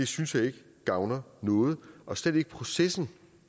synes ikke det gavner noget og slet ikke processen